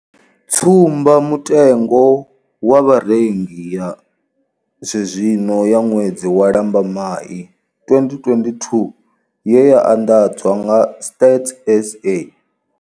Tsumbamutengo wa vharengi ya zwenezwino ya ṅwedzi wa Lambamai 2022 ye ya anḓadzwa nga Stats SA.